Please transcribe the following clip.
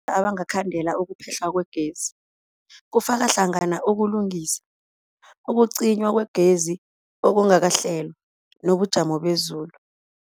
Kunabonobangela abangakhandela ukuphehlwa kwegezi, kufaka hlangana ukulungisa, ukucinywa kwegezi okungakahlelwa, nobujamo bezulu.